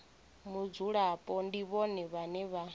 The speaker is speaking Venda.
mudzulapo ndi vhone vhane vha